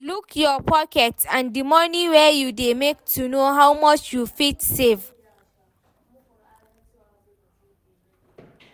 Look your pocket and di money wey you dey make to know how much you fit save